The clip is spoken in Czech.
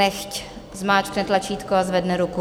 Nechť zmáčkne tlačítko a zvedne ruku.